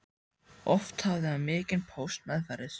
Oft hafði hann mikinn póst meðferðis.